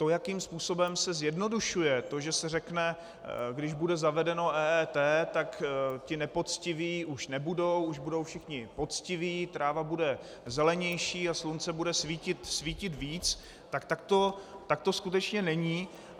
To, jakým způsobem se zjednodušuje, to, že se řekne, když bude zavedeno EET, tak ti nepoctiví už nebudou, už budou všichni poctiví, tráva bude zelenější a slunce bude svítit víc, tak to skutečně není.